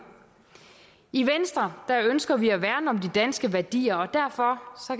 i venstre ønsker vi at værne om de danske værdier og derfor